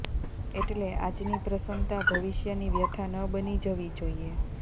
એટલે આજની પ્રસન્નતા ભવિષ્યની વ્યથા ન બની જવી જોઇએ